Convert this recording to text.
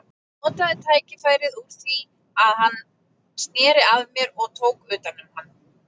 Ég notaði tækifærið úr því hann sneri að mér og tók utan um hann.